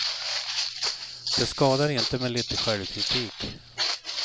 Det skadar inte med lite självkritik.